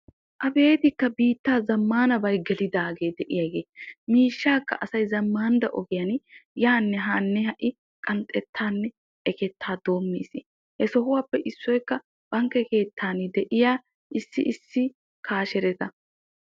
Abeetikka biitta zamaanabay gelidaage asay miishsha zamaana bankke keetan qanxxeesinne ekkees.